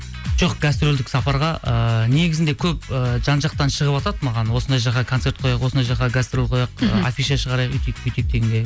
жоқ гастрольдік сапарға ііі негізінде көп ы жан жақтан шығыватады маған осындай жаққа концерт қояйық осындай жаққа гастроль кояйық ы афиша шығарайық өйтейік бүйтейік дегендей